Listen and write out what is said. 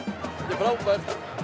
frábært